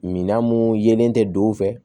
Minan mun yelen tɛ don o fɛ